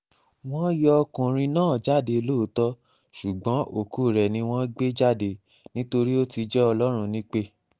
wọ́n yọ ọkùnrin náà jáde lóòótọ́ ṣùgbọ́n òkú rẹ̀ ni wọ́n gbé jáde nítorí ó ti jẹ́ ọlọ́run nípè